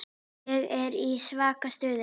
Ég er í svaka stuði.